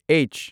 H